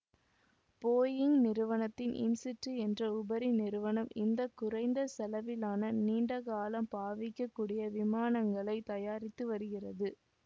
Boeing நிறுவனத்தின் Insitu என்ற உபரி நிறுவனம் இந்த குறைந்த செலவிலான நீண்ட காலம் பாவிக்கக்கூடிய விமானங்களைத் தயாரித்து வருகிறது